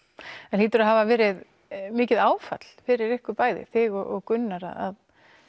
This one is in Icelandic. það hlýtur að hafa verið mikið áfall fyrir ykkur bæði þig og Gunnar að